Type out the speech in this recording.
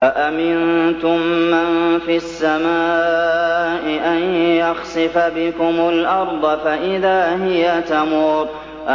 أَأَمِنتُم مَّن فِي السَّمَاءِ أَن يَخْسِفَ بِكُمُ الْأَرْضَ فَإِذَا هِيَ تَمُورُ